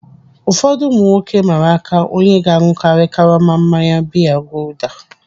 Ụfọdụ ụmụ nwoke mmara aka onye ga-aṅụkari karama mmanya biya gulder.